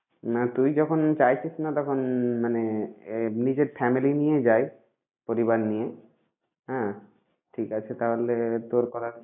না তুই যখন চাইছিস না তখন মানে আহ নিজের family নিয়ে যাই। পরিবার নিয়ে হ্যাঁ ঠিক আছে তাহলে তোর কথা।